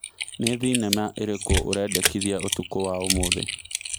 nĩ thĩnema ĩrĩkũ ũrendakĩthĩa ũtukũ wa ũmũthi